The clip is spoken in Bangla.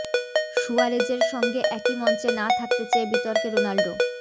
সুয়ারেজের সঙ্গে একই মঞ্চে না থাকতে চেয়ে বিতর্কে রোনাল্ডো